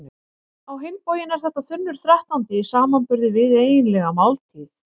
Á hinn bóginn er þetta þunnur þrettándi í samanburði við eiginlega máltíð.